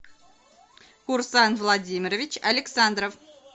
урсан владимирович александров